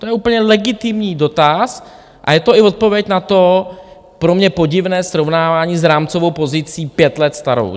To je úplně legitimní dotaz a je to i odpověď na to pro mě podivné srovnávání s rámcovou pozicí pět let starou.